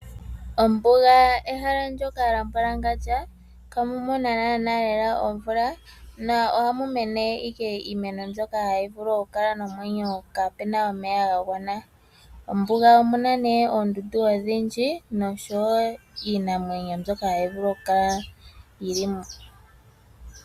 Ombuga ehala ndyoka lyambwalangandja ihamu mono naanaa lela omvula. Na ohamu mene ashike iimeno mbyoka hayi vulu okukala nomwenyo kapena omeya ga gwana. Mombuga omu na nee oondundu odhindji noshowo iinamwenyo mbyoka hayi vulu okukala yili mo.